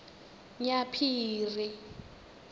nyaphiri